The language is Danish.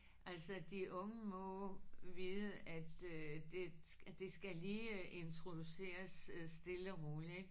Altså de unge må vide at øh det at det skal lige introduceres stille og roligt ik